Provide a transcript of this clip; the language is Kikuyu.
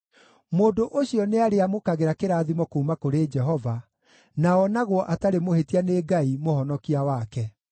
Mũndũ ũcio nĩarĩamũkagĩra kĩrathimo kuuma kũrĩ Jehova, na onagwo atarĩ mũhĩtia nĩ Ngai, Mũhonokia wake.